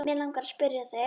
Mig langar að spyrja þig.